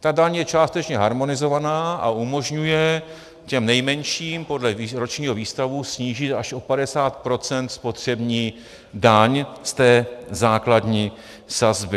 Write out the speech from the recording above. Ta daň je částečně harmonizovaná a umožňuje těm nejmenším podle ročního výstavu snížit až o 50 % spotřební daň z té základní sazby.